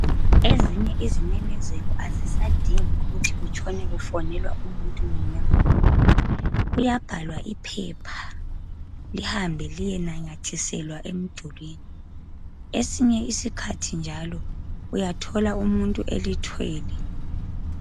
Ezinye izimemezelo azisadingi ukuthi kutshone kufonelwa umuntu munyengamunye. Kuyabhalwa iphepha lihambe liyenanyathiselwa emdulini esinye isikhathi njalo, uyathola umuntu elithwele.